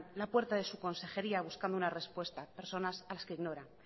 la puerta de su consejería buscando una respuesta personas a las que ignoran